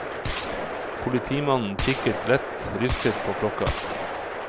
Politimannen kikket lett rystet på klokka.